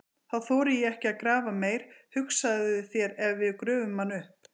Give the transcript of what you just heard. Þá þori ég ekki að grafa meir, hugsaðu þér ef við gröfum hann upp!